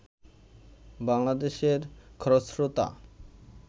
বাংলাদেশের খরস্রোতা